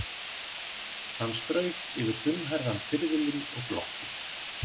Hann strauk yfir þunnhærðan hvirfilinn og glotti.